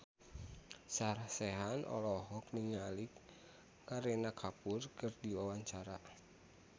Sarah Sechan olohok ningali Kareena Kapoor keur diwawancara